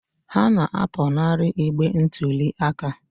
Ha na-apụnara igbe ntụli aka.